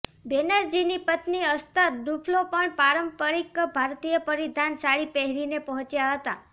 બેનર્જીની પત્ની Esther Duflo પણ પારંપરિક ભારતીય પરિધાન સાડી પહેરીને પહોંચ્યા હતા